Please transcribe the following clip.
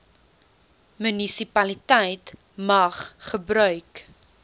munisipaliteit mag gebruik